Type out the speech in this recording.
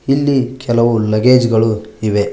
ಇಲ್ಲಿ ಕೆಲವು ಲಗೆಜ್ ಗಳು ಇವೆ.